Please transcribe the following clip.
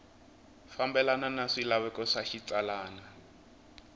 fambelana na swilaveko swa xitsalwana